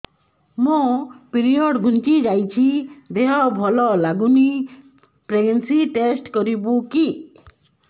ମୋ ପିରିଅଡ଼ ଘୁଞ୍ଚି ଯାଇଛି ଦେହ ଭଲ ଲାଗୁନି ପ୍ରେଗ୍ନନ୍ସି ଟେଷ୍ଟ କରିବୁ କି